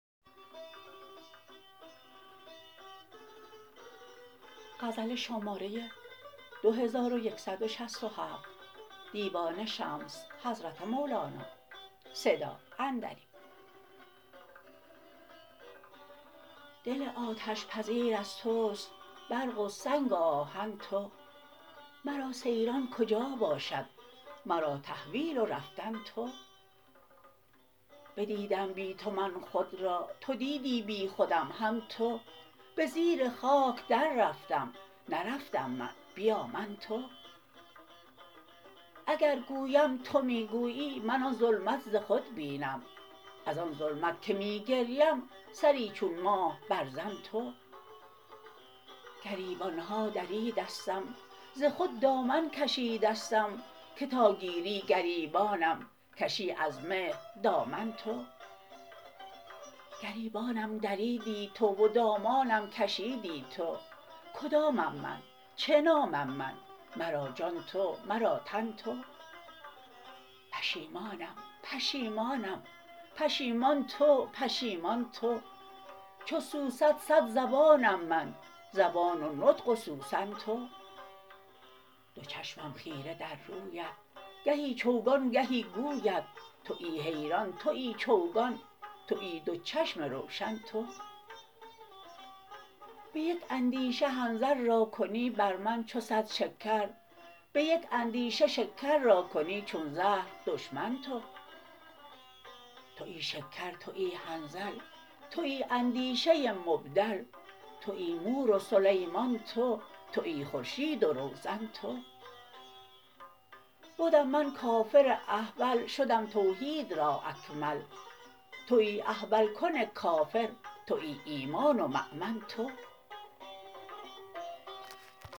دل آتش پذیر از توست برق و سنگ و آهن تو مرا سیران کجا باشد مرا تحویل و رفتن تو بدیدم بی تو من خود را تو دیدی بیخودم هم تو به زیر خاک دررفتم نرفتم من بیا من تو اگر گویم تو می گویی من آن ظلمت ز خود بینم از آن ظلمت که می گریم سری چون ماه برزن تو گریبانم دریدستم ز خود دامن کشیدستم که تا گیری گریبانم کشی از مهر دامن تو گریبانم دریدی تو و دامانم کشیدی تو کدامم من چه نامم من مرا جان تو مرا تن تو پشیمانم پشیمانم پشیمان تو پشیمان تو چو سوسن صد زبانم من زبان و نطق و سوسن تو دو چشمم خیره در رویت گهی چوگان گهی گویت توی حیران توی چوگان توی دو چشم روشن تو به یک اندیشه حنظل را کنی بر من چو صد شکر به یک اندیشه شکر را کنی چون زهر دشمن تو توی شکر توی حنظل توی اندیشه مبدل توی مور و سلیمان تو توی خورشید و روزن تو بدم من کافر احول شدم توحید را اکمل توی احول کن کافر توی ایمان و مؤمن تو